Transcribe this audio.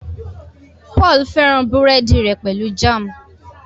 Paul féràn burẹdi rè pẹlú Jam.